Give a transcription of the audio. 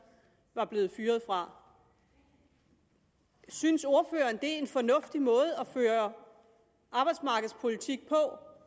var blevet fyret fra synes ordføreren en fornuftig måde at føre arbejdsmarkedspolitik på